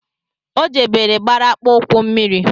O jebere gbara akpụụkwụ mmiri